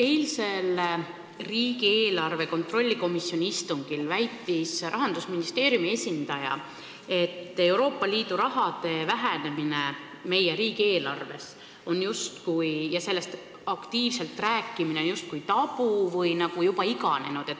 Eilsel riigieelarve kontrolli komisjoni istungil väitis Rahandusministeeriumi esindaja, et Euroopa Liidu raha vähenemine meie riigieelarves ja sellest aktiivselt rääkimine on justkui tabu või juba iganenud.